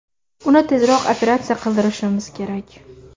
Uni tezroq operatsiya qildirishimiz kerak.